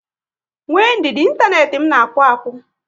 Nwee ndidi, inteenti m na akpu akpụ